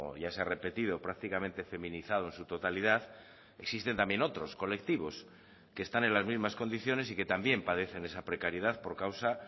ya se ha repetido prácticamente feminizado en su totalidad existen también otros colectivos que están en las mismas condiciones y que también padecen esa precariedad por causa